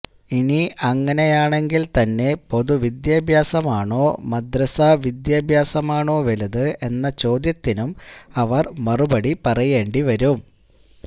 ഇനി അങ്ങനെയാണെങ്കിൽതന്നെ പൊതുവിദ്യഭ്യാസമാണോ മദ്രസാ വിദ്യാഭ്യാസമാണോ വലുത് എന്ന ചോദ്യത്തിനും അവർ മറുപടി പറയേണ്ടിവരും